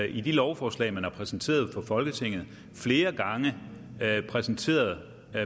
i de lovforslag man har præsenteret for folketinget flere gange præsenteret